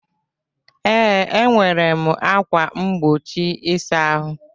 Ee, nwere ákwà mgbochi ịsa ahụ.